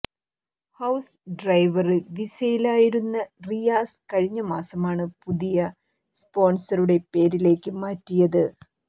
house driver വിസയിലായിരുന്ന റിയാസ് കഴിഞ്ഞ മാസമാണ് പുതിയ സ്പോണ്സറുടെ പേരിലേക്ക് മാറ്റിയത്